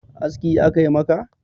aski a Kai maka?